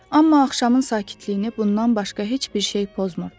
Amma axşamın sakitliyini bundan başqa heç bir şey pozmurdu.